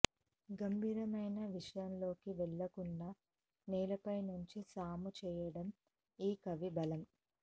గంభీరమైన విషయాల్లోకి వెళ్ళకుండా నేలపై నుంచే సాము చేయడం ఈ కవి బలం